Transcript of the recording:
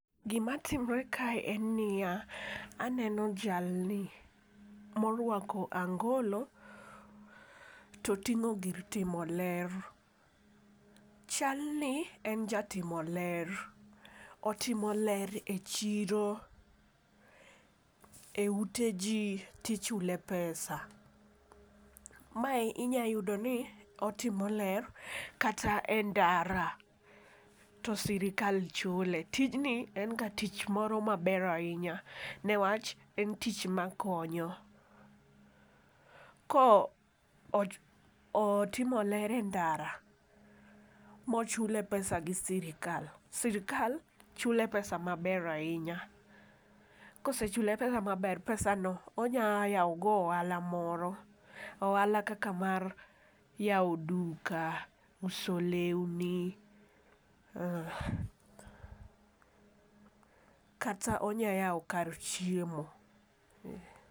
Gima timore kae en niya aneno jalni morwako angolo to ting'o gir timo ler. Chal ni en jatimo ler otimo ler e chiro, e ute jii tichule pesa .Mae inya yudo ni otimo ler kata e ndara to sirikal chule. Tijni en ga tich moro maber ahinya newach en tich makonyo . Ko o otimo ler e ndara mochule pesa gi sirikal sirikal chule pesa maber ahinya . Kosechule pesa maber pesa no onya yawo go ohala moro . Ohala kaka mar yawo duka ,uso lewni, kata onya yawo kar chiemo.